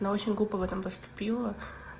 она очень глупо в этом поступила